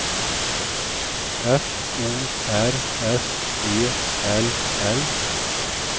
F O R S E L L